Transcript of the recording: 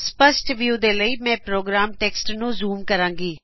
ਸਪੱਸ਼ਟ ਵਿਉ ਦੇ ਲਈ ਮੈਂ ਪ੍ਰੋਗਰਾਮ ਟੈਕਸਟ ਨੂੰ ਜੂਮ ਕਰਾਗੀ